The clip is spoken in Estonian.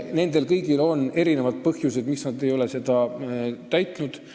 Neil on erinevad põhjused, miks nad ei ole tingimusi täitnud.